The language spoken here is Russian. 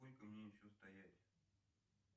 сколько мне еще стоять